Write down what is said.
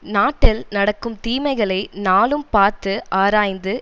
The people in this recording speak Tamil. நாட்டில் நடக்கும் தீமைகளை நாளும் பார்த்து ஆராய்ந்து